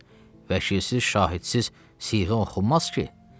Vəkilsiz, şahidsiz siğə oxunmaz ki?